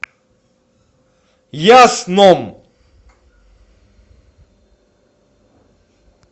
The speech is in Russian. ясном